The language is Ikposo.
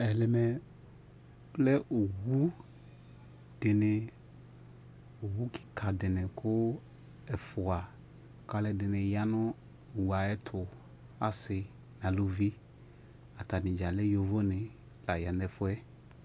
Ɛmɛ lɛ lɛ owu dini, owu kika dini kʋ ɛfua ka alʋɛdini ya nʋ owu ayɛtʋ, asi nʋ alʋvi Atanidza lɛ yovo ni la ya nʋ ɛfuɛ